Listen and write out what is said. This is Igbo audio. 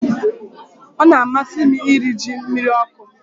Ọ na-amasị m iri ji mmiri ọkụ m